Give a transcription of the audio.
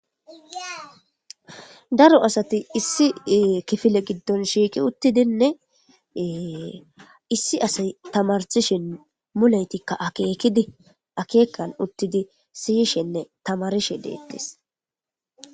Daro asati issi kifile giddon shiiki uttidinnee issi asay tamarsishen mulaytikka akeekidi akeekan uttidi siyishenne tamarishe deettes